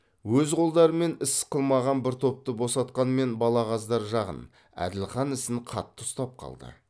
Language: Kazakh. өз қолдарымен іс қылмаған бір топты босатқанмен балағаздар жағын әділхан ісін қатты ұстап қалды